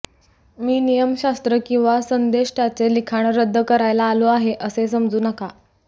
मी नियमशास्त्र किंवा संदेष्ट्याचे लिखाण रद्द करायला आलो आहे असे समजू नका